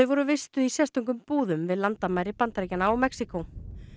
voru vistuð í sérstökum búðum við landamæri Bandaríkjanna og Mexíkó